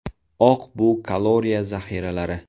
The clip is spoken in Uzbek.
Oq bu kaloriya zaxiralari.